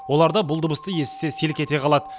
олар да бұл дыбысты естісе селк ете қалады